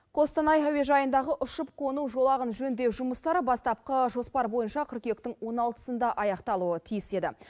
қостанай әуежайындағы ұшып қону жолағын жөндеу жұмыстары бастапқы жоспар бойынша қыркүйектің он алтысында аяқталуы тиіс еді